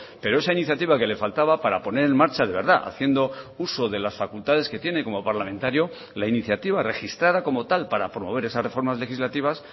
pero esa iniciativa que le faltaba para poner en marcha de verdad haciendo uso de las facultades que tiene como parlamentario la iniciativa registrada como tal para promover esas reformas legislativas